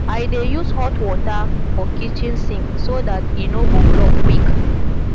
i dey use hot water for kitchen sink so dat e no go block quick